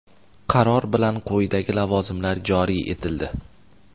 Qaror bilan quyidagi lavozimlar joriy etildi:.